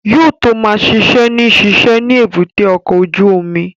Yóò tó ma ṣiṣẹ́ ní ṣíṣe ni èbúté ọkọ̀ ojú omi